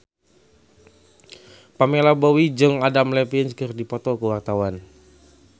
Pamela Bowie jeung Adam Levine keur dipoto ku wartawan